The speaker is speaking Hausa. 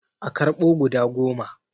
A karɓo guda goma